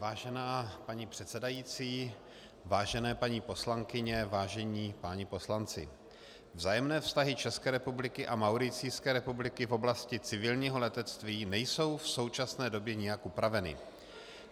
Vážená paní předsedající, vážené paní poslankyně, vážení páni poslanci, vzájemné vztahy České republiky a Mauricijské republiky v oblasti civilního letectví nejsou v současné době nijak upraveny.